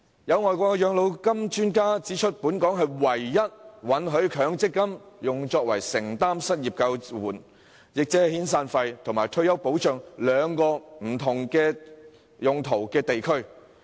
有外國養老金專家指出，本港是唯一允許把強積金用作承擔失業救援及退休保障兩種不同用途的地區。